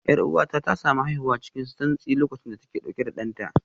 Yar'uwata ta samu haihuwa cikin santsi lokacin da take dauke da danta